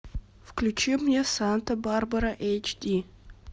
включи мне санта барбара эйч ди